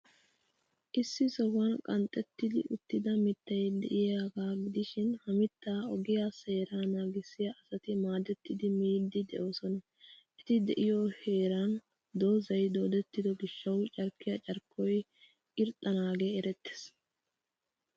Issi sohuwan qanxxetti uttida mittay de'iyaagaa gidishin, Ha mittaa ogiyaa seeraa naagissiyaa asti maadettidi miyyiiddi de'oosona. Eti de'iyoo heeray dozan doodettido gishshawu carkkiyaa carkkoy irxxanaagee erettees.